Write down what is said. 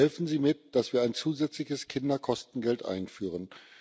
Helfen Sie mit, dass wir ein zusätzliches Kinderkostengeld einführen.